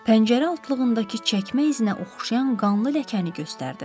Pəncərə altlığındakı çəkmə izinə oxşayan qanlı ləkəni göstərdi.